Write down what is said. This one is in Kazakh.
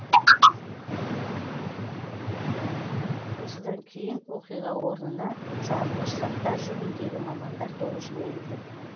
осыдан кейін оқиға орнына жарылғыш заттар жөніндегі мамандар тобы жіберілді